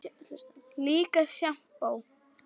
Líka sjampó.